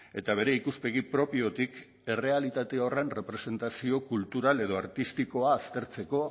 eta bere ikuspegi propiotik errealitate horren errepresentazio kultural edo artistikoa aztertzeko